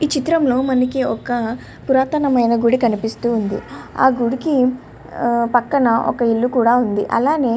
ఇక్కడ మనకి పూరాత మైన ఇల్లు కనబడుతుంది. పక్కన ఇల్లు కూడా ఉన్నదీ.